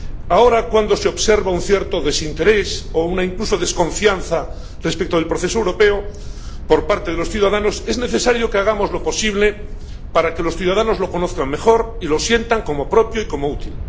Ahora, cuando se observa un cierto desinterés o incluso una desconfianza respecto del proceso europeo por parte de los ciudadanos, es necesario que hagamos lo posible para que los ciudadanos lo conozcan mejor y lo sientan como propio y como útil.